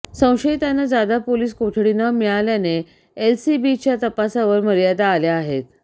संशयितांना ज्यादा पोलिस कोठडी न मिळाल्याने एलसीबीच्या तपासावर मर्यादा आल्या आहेत